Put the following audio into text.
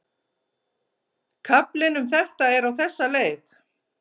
Kaflinn um þetta er á þessa leið